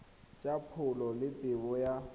tsa pholo le tebo ya